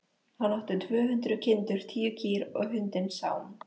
Hann átti tvö hundruð kindur, tíu kýr og hundinn Sám.